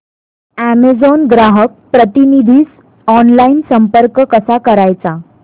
Amazon ग्राहक प्रतिनिधीस online संपर्क कसा करायचा